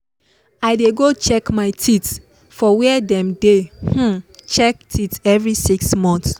i dey go check my teeth for where dem dey um check teeth every 6 month